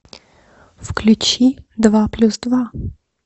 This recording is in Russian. включи два плюс два